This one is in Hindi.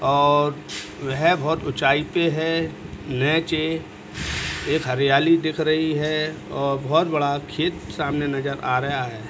और वह बहोत उचाई पे है। नीचे एक हरयाली दिख रही है और बहोत बड़ा खेत सामने नजर आ रेआ है।